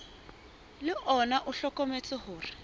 le ona o hlokometse hore